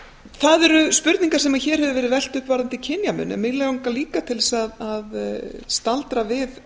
það eru spurningar sem hér hefur verið velt upp varðandi kynjamun mig langar líka til þess að staldra við